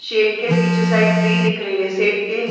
shade के पीछे side tree दिख रही है शेड के--